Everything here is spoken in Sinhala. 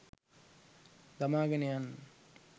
දමාගෙන යන්න.